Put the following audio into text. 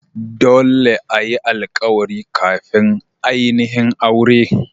Dolle a yi alkawari kafin ainihin aure.